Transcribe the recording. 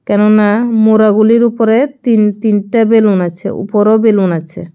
কেননা মোড়াগুলির উপরে তিন তিনটে বেলুন আছে উপরেও বেলুন আছে।